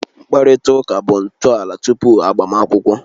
Mkparịta ụka bụ ntọala tupu agbamakwụkwọ